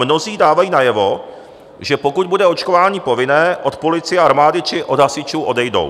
Mnozí dávají najevo, že pokud bude očkování povinné, od policie, armády či od hasičů odejdou.